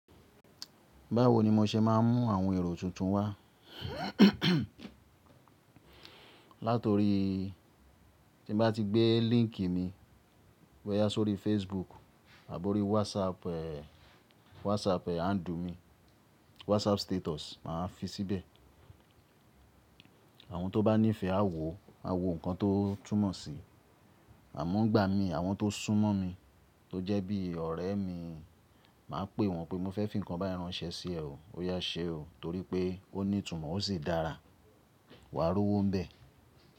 Báwo ni mo ṣe máa ń mú àwọn èrò tuntun wá? Látorí tí ń bá ti gbé link mi bọ́yá sórí Facebook àbó orí WhatsApp eh WhatsApp eh handle mi, WhatsApp status màá fi síbẹ̀. Àwọn tó bá nífẹ̀ẹ́ á wò ó, a wò nǹkan tó túnmọ̀ sí. Àmọ́ ń gba mi àwọn tó súnmọ́ mi tó jẹ́ bí ọ̀rẹ́ mi, màá pè wọ́n pé mo fẹ́ fi ǹkan bá yín ránṣẹ́ sí ẹ ó, ó yá ṣe ó torí pé ó ní ìtumọ̀ ó sì dára. Wà á rowó ń bẹ̀.